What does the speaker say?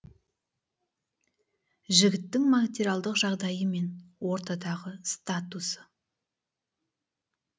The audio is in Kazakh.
жігіттің материалдық жағдайы мен ортадағы статусы